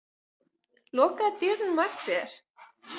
Lokaðu dyrunum á eftir þér.